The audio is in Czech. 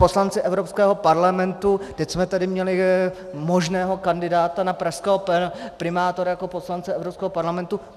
Poslanci Evropského parlamentu, teď jsme tady měli možného kandidáta na pražského primátora jako poslance Evropského parlamentu.